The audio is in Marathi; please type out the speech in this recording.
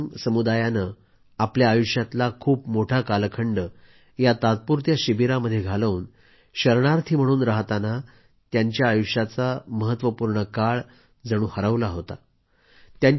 ब्रू रियांग समुदायाने आपल्या आयुष्यातला खूप मोठा कालखंड या तात्पुरत्या शिबिरामध्ये घालवून शरणार्थी म्हणून राहताना त्यांचा आयुष्याचा महत्वपूर्ण काळ जणू हरवलाच होता